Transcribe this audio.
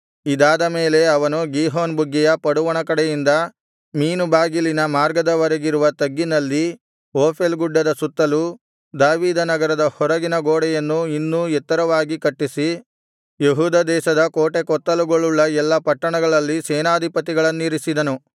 ಇದಾದ ಮೇಲೆ ಅವನು ಗೀಹೋನ್ ಬುಗ್ಗೆಯ ಪಡುವಣ ಕಡೆಯಿಂದ ಮೀನುಬಾಗಿಲಿನ ಮಾರ್ಗದವರೆಗಿರುವ ತಗ್ಗಿನಲ್ಲಿ ಓಫೆಲ್ ಗುಡ್ಡದ ಸುತ್ತಲೂ ದಾವೀದನಗರದ ಹೊರಗಿನ ಗೋಡೆಯನ್ನು ಇನ್ನೂ ಎತ್ತರವಾಗಿ ಕಟ್ಟಿಸಿ ಯೆಹೂದ ದೇಶದ ಕೋಟೆಕೊತ್ತಲುಗಳುಳ್ಳ ಎಲ್ಲಾ ಪಟ್ಟಣಗಳಲ್ಲಿ ಸೇನಾಧಿಪತಿಗಳನ್ನಿರಿಸಿದನು